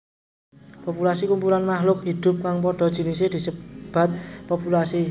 Populasi Kumpulan makhluk hidup kang padha jinise disebat populasi